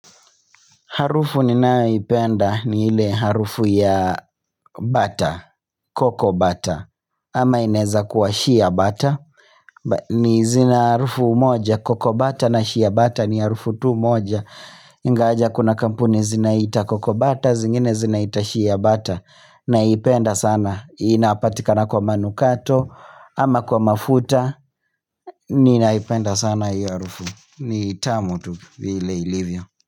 Harufu ninayoipenda ni ile harufu ya butter, cocoa butter, ama inaeza kuwa shea butter, ni zina harufu moja, cocoa butter na shea butter ni harufu tu moja, ingawaje kuna kampuni zinaita cocoa butter, zingine zinaita shea butter, naipenda sana, inapatikana kwa manukato, ama kwa mafuta, ninaipenda sana iyo harufu, ni tamu tu vile ilivyo.